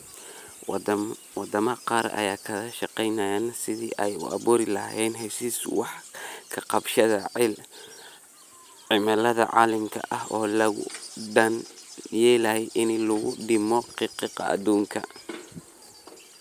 Waddamada qaar ayaa ka wada shaqaynaya sidii ay u abuuri lahaayeen heshiisyo wax-ka-qabashada cimilada caalamiga ah oo looga dan leeyahay in lagu dhimo qiiqa qiiqa adduunka.